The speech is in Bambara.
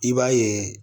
I b'a ye